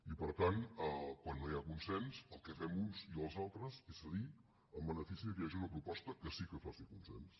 i per tant quan no hi ha consens el que fem uns i els altres és cedir en benefici que hi hagi una proposta que sí que faci consens